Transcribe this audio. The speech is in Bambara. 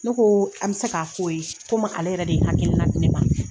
Ne ko an bɛ se k'a f'o ye komi ale yɛrɛ de hakili la di ne ma.